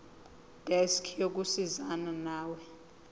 desk yokusizana nawe